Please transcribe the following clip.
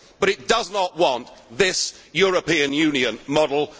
things. But it does not want this European Union